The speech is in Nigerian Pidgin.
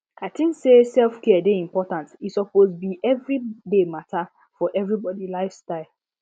i tink say selfcare dey important e suppose be everyday matter for everybody life style